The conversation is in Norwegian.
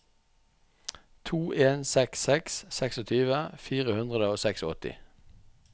to en seks seks tjueseks fire hundre og åttiseks